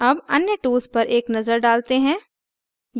अब अन्य tools पर एक नजर डालते हैं